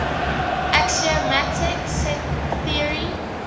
axiomatic set theory